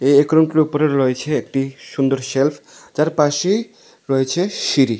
ওপরে রয়েছে একটি সুন্দর শেল্ফ যার পাশেই রয়েছে সিঁড়ি।